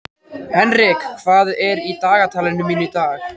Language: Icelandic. Henrik, hvað er í dagatalinu mínu í dag?